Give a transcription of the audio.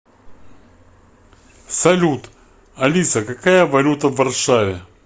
салют алиса какая валюта в варшаве